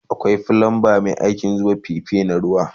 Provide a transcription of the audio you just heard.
Akwai flumba Mai aikin zuba fife na ruwa